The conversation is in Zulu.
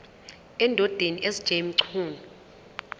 endodeni sj mchunu